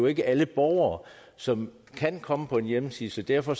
ikke alle borgere som kan komme på en hjemmeside så derfor